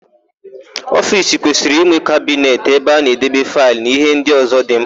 Ofiisi kwesịrị ịnwe kabinet ebe a na-edebe faịlụ na íhé ndị ọ̀zọ́ dị ḿkpà.